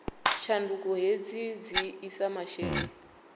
tshanduko hedzi dzi isa mashumele